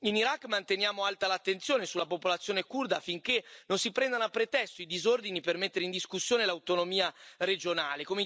In Iraq manteniamo alta l'attenzione sulla popolazione curda, affinché non si prendano a pretesto i disordini per mettere in discussione l'autonomia regionale.